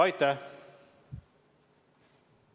Aitäh!